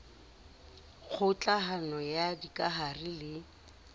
kgoka hano ya dikahare le